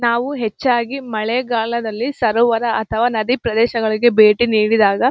ನಾವು ಹೆಚ್ಚಾಗಿ ಮಳೆಗಾಲದಲ್ಲಿ ಸರೋವರ ಅಥವಾ ನದಿ ಪ್ರದೇಶಗಳಿಗೆ ಬೇಟಿ ನೀಡಿದಾಗ.